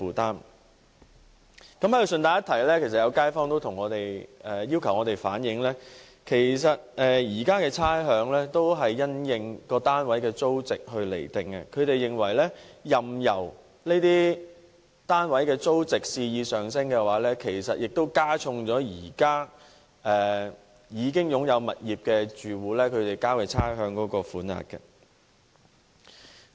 在這裏順帶一提，有街坊要求我們反映，現時的差餉是因應單位的租值釐定，任由這些單位的租值肆意上升，亦會加重現時已擁有物業的住戶所繳交的差餉。